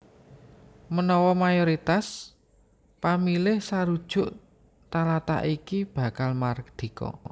Menawa mayoritas pamilih sarujuk talatah iki bakal mardika